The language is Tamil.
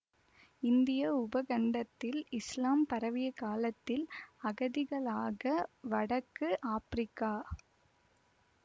இந்திய உபகண்டத்தில் இசுலாம் பரவிய காலத்தில் அகதிகளாக வடக்கு ஆப்பிரிக்கா